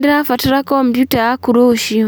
Nĩndĩrabatara komputa yaku rũciũ